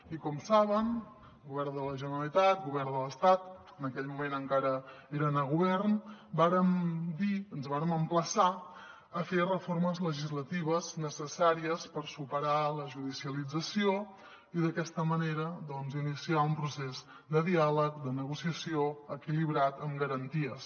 i com saben govern de la generalitat govern de l’estat en aquell moment encara eren a govern vàrem dir ens vàrem emplaçar a fer reformes legislatives necessàries per superar la judicialització i d’aquesta manera iniciar un procés de diàleg de negociació equilibrat amb garanties